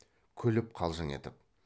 күліп қалжың етіп